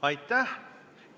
Aitäh!